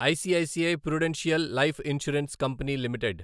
ICICI Prudential life insurance company limited